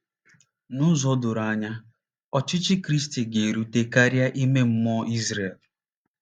N'ụzọ doro anya, ọchịchị Kristi ga-erute karịa ime mmụọ Izrel.